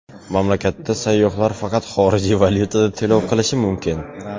Mamlakatda sayyohlar faqat xorijiy valyutada to‘lov qilishi mumkin.